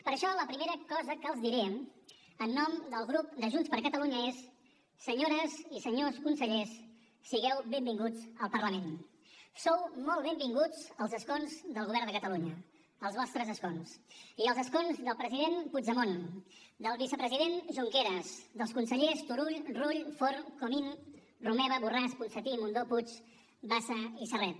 per això la primera cosa que els diré en nom del grup de junts per catalunya és senyores i senyors consellers sigueu benvinguts al parlament sou molt benvinguts als escons del govern de catalunya als vostres escons i als escons del president puigdemont del vicepresident junqueras dels consellers turull rull forn comín romeva borràs ponsatí mundó puig bassa i serret